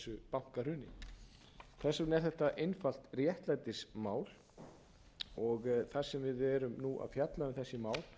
bankahruni þess vegna er þetta einfalt réttlætismál og þar sem við erum að fjalla um þessi mál